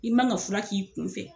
I man ka fura k'i kun fɛ.